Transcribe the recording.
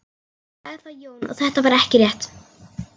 Sagði þá Jón að þetta væri ekki rétt.